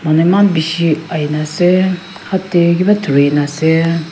manu eman bishi ahi na ase hath te kiba thori na ase.